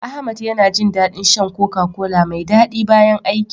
Ahmad yana jin daɗin shan "Coca-Cola" mai daɗi bayan aiki.